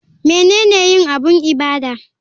Menene yin abun ibada?